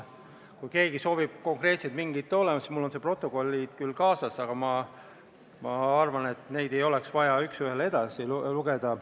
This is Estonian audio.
Kui keegi soovib konkreetselt midagi täpsustada, siis mul on protokollid küll kaasas, aga ma arvan, et neid ei ole vaja üks ühele ette lugeda.